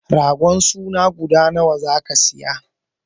Ragon suna guda nawa zaka siya?